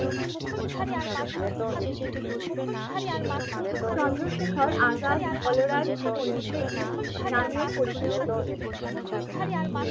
চন্দ্রশেখর আজাদ বলরাজ পন্ডিচেরি নামেও পরিচিত ছিলেন ।